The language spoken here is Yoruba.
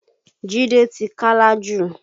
Jide ti Kálá jù